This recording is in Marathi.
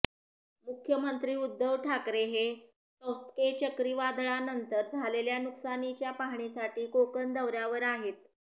मुख्यमंत्री उद्धव ठाकरे हे तौत्के चक्रीवादळानंतर झालेल्या नुकसानीच्या पाहणीसाठी कोकण दौऱ्यावर आहेत